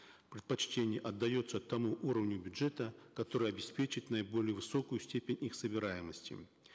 предпочтение отдается тому уровню бюджета который обеспечит наиболее высокую степень их собираемости